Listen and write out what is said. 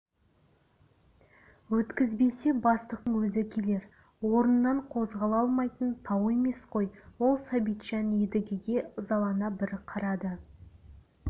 өткізбесе бастықтың өзі келер орнынан қозғала алмайтын тау емес қой ол сәбитжан едігеге ызалана бір қарады